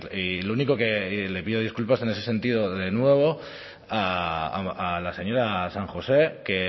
y lo único que y le pido disculpas en ese sentido de nuevo a la señora san josé que